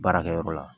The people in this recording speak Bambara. Baarakɛyɔrɔ la